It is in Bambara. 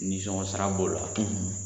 Nisɔngɔ sara b'o la.